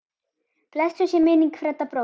Blessuð sé minning Fredda bróður.